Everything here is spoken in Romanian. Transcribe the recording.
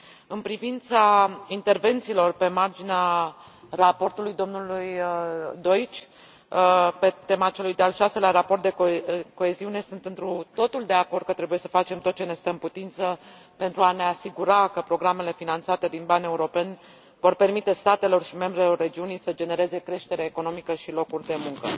În privința intervențiilor pe marginea raportului domnului Deutsch, pe tema celui de al șaselea raport de coeziune, sunt întru totul de acord că trebuie să facem tot ce ne stă în putință pentru a ne asigura că programele finanțate din bani europeni vor permite statelor și membrelor regiunii să genereze creștere economică și locuri de muncă.